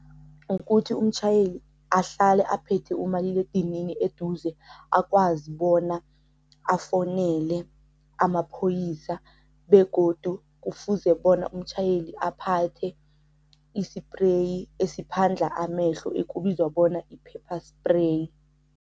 Ukuthi umtjhayeli ahlale aphethe umaliledinini eduze akwazi bona afonele amaphoyisa, begodu kufuze bona umtjhayeli aphathe isipreyi esiphandla amehlo ekubizwa bona i-pepper spray.